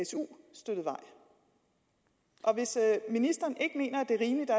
su støttet vej og hvis ministeren ikke mener at det er rimeligt at